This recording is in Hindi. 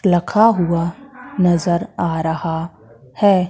लखा हुआ नजर आ रहा है।